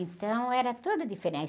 Então, era tudo diferente.